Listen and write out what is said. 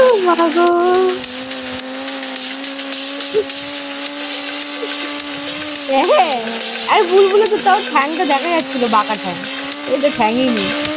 ওমা গো। এতো সেই ~ এতো সেই বুলবুল হ্যাঁ, আরে বুলবুলের তো তাও ঠেং টা দেখা যাচ্ছিলো, বাঁকা ঠ্যাং। এর তো ঠ্যাং ই নেই।